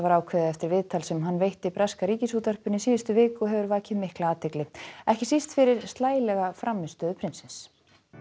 ákveðið eftir viðtal sem hann veitti breska Ríkisútvarpinu í síðustu viku og hefur vakið mikla athygli ekki síst fyrir slælega frammistöðu prinsins